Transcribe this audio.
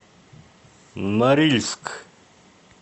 норильск